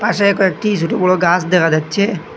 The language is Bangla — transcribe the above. পাশে কয়েকটি ছোট বড়ো গাছ দেখা যাচ্ছে।